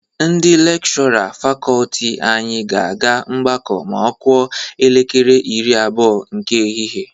Ndị lekshọra fakọọti anyị ga-aga ọgbakọ ma ọ kụọ elekere iri abụọ nke ehihie.